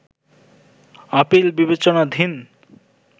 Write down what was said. appeal বিবেচনাধীন